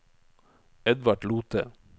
Edvard Lothe